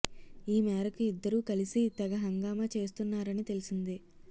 ఈ మేరకు ఇద్దరూ కలిసి తెగ హంగామా చేస్తున్నారని తెలిసింది